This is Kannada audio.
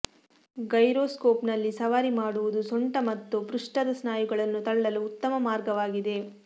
ಗೈರೊಸ್ಕೋಪ್ನಲ್ಲಿ ಸವಾರಿ ಮಾಡುವುದು ಸೊಂಟ ಮತ್ತು ಪೃಷ್ಠದ ಸ್ನಾಯುಗಳನ್ನು ತಳ್ಳಲು ಉತ್ತಮ ಮಾರ್ಗವಾಗಿದೆ